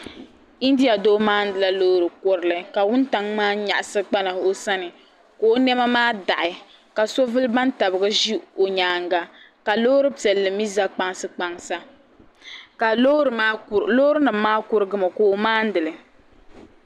India doo maanila loori kurili ka wuntaŋ maa nyaɣisi kpana o sani ka o nɛma maa daɣi ka so vuli bantabiga ʒi o nyaaŋa ka loori piɛlli mi za kpaŋ sa ka loorinima maa kurigimi ka o maani li.